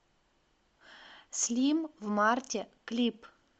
слим в марте клип